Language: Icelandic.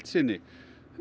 sinni